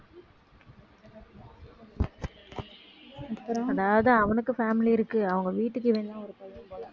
அதாவது அவனுக்கு family இருக்கு அவங்க வீட்டுக்கு இவன் தான் ஒரு பையன் போல